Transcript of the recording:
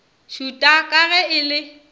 šuta ka ge e le